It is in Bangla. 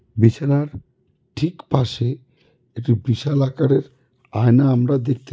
বিছানার ঠিক পাশে একটি বিশাল আকারের আয়না আমরা দেখতে--